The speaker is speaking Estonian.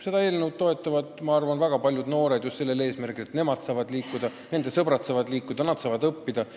Seda eelnõu toetavad minu arvates väga paljud noored just seepärast, et nad saavad liikuda, nende sõbrad saavad liikuda, nad saavad õppida.